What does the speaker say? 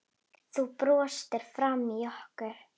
Þú brostir framan í okkur.